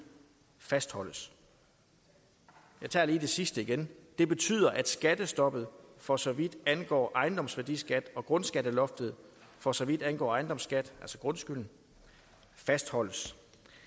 fastholdes jeg tager lige det sidste igen det betyder at skattestoppet for så vidt angår ejendomsværdiskat og grundskatteloftet for så vidt angår ejendomsskat altså grundskyld fastholdes